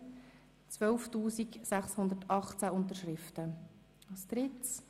Diese wurde mit 12 218 Unterschriften eingereicht.